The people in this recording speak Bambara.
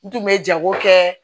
N tun bɛ jago kɛ